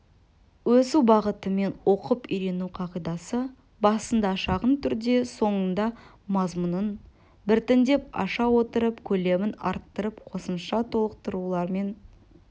өсу бағытымен оқып үйрену қағидасы басында шағын түрде соңындамазмұнын біртіндеп аша отырып көлемін арттырып қосымша толықтырулар мен